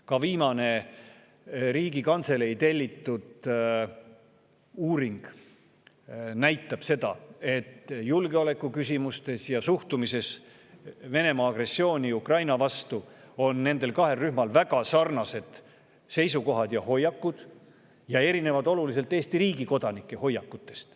Ka viimane Riigikantselei tellitud uuring näitab, et julgeolekuküsimustes ja suhtumises Venemaa agressiooni Ukraina vastu on nendel kahel rühmal väga sarnased seisukohad ja hoiakud ja need erinevad oluliselt Eesti riigi kodanike hoiakutest.